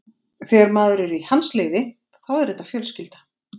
Þegar maður er í hans liði, þá er þetta fjölskylda.